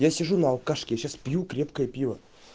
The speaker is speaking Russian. я сижу на алкашке я сейчас пью крепкое пиво